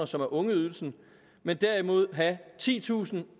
som er ungeydelsen men derimod have titusinde